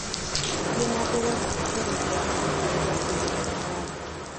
Thiĩ na mbere gũthikĩrĩria rwĩmbo rũu rwa kũina taarab.